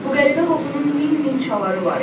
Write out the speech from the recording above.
Bu qəribə qoxunun min-min çaları var idi.